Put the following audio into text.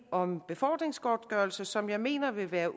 om befordringsgodtgørelse som jeg mener vil være